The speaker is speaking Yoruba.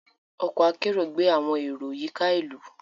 Ọkọ akero gbé awọn ero yíká ìlú